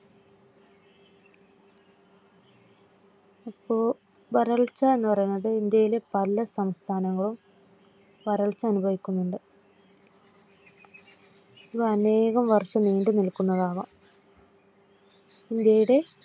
അപ്പോ വരൾച്ച എന്നു പറയുന്നത് ഇന്ത്യയിലെ പല സംസ്ഥാനങ്ങളിലും വരൾച്ച അനുഭവിക്കുന്നുണ്ട്. അത് അനേകം വർഷം നീണ്ടു നിൽക്കുന്നതാവാം. ഇന്ത്യയുടെ